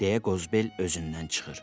Deyə Qozbel özündən çıxır.